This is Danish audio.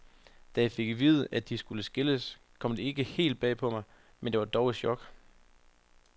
Da jeg fik at vide, at de skulle skilles, kom det ikke helt bag på mig, men det var dog et chok.